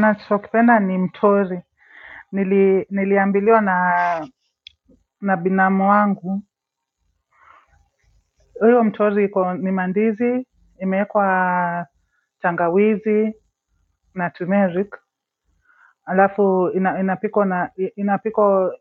Nachokipenda ni mtori niliambiliwa na binamu wangu hiyo mtori iko ni mandizi imeekwa tangawizi na tumeric alafu inapikwa na inapiko